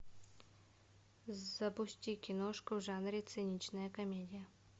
запусти киношку в жанре циничная комедия